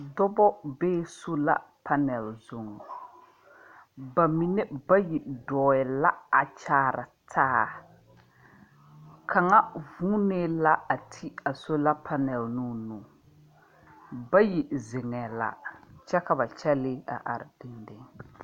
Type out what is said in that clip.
Dɔba bee sola panɛl zuŋ. Ba mine bayi dɔɔɛ la a kyaara taa. Kaŋa vuunee la a ti a sola panɛl noo nu. Bayi zeŋɛɛ la, kyɛ ka ba kyɛlee a are dendeŋ.